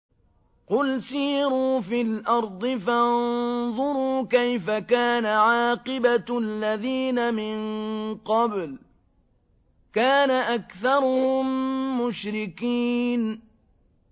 قُلْ سِيرُوا فِي الْأَرْضِ فَانظُرُوا كَيْفَ كَانَ عَاقِبَةُ الَّذِينَ مِن قَبْلُ ۚ كَانَ أَكْثَرُهُم مُّشْرِكِينَ